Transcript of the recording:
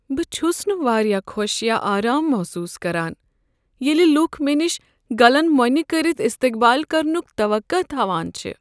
بہٕ چھس نہٕ واریاہ خوش یا آرام محسوٗس کران ییٚلہ لوٗکھ مےٚ نش گلن مۄنہِ کٔرتھ استیقبال کرنُک توقع تھاوان چھ۔